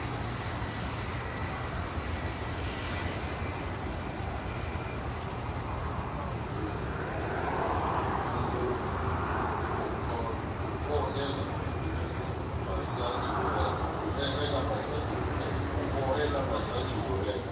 ho hohela babadi ho reka